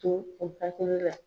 to u hakili la.